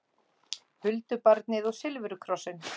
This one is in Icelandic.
Huldubarnið og silfurkrossinn